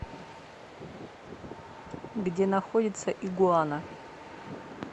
где находится игуана